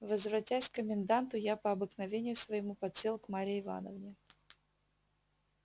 возвратясь к коменданту я по обыкновению своему подсел к марье ивановне